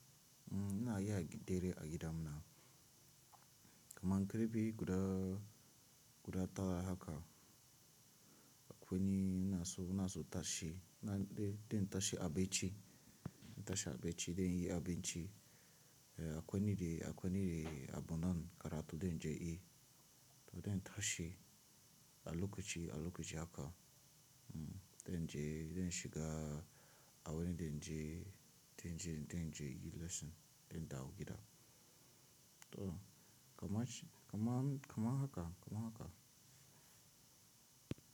Uhm, ina yi hagi dere a gida muna. Kaman kare bi guda, guda tara haka. Akwani na su, na su tashi. Na de, den tashi a baci. Den tashi a baci, den yi a baci. Eh, akwani de, akwani de abandon karatu den je i. Den tashi, a lokaci, a lokaci haka. Uhm, den je, den shiga aweni den je, den je, den je yi lesson den dawo gida. To, kaman shi, kaman, kaman haka, kaman haka.